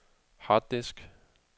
harddisk